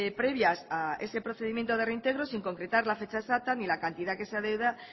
previas a ese procedimiento de reintegro sin concretar la fecha exacta ni la cantidad que se adeuda